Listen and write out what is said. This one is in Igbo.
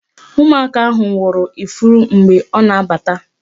Ụmụaka ahụ wụrụ ya ifuru mgbe ọ na-abata